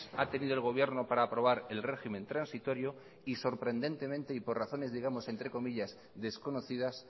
ha tenido el gobierno para aprobar el régimen transitorio y sorprendentemente y por razones digamos que desconocidas